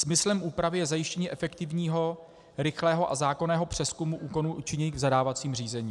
Smyslem úpravy je zajištění efektivního, rychlého a zákonného přezkumu úkonů učiněných v zadávacím řízení.